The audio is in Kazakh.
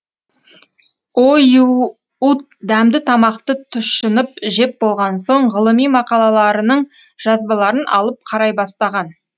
оюут дәмді тамақты тұщынып жеп болған соң ғылыми мақалаларының жазбаларын алып қарай бастаған